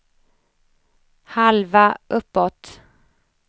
halva uppåt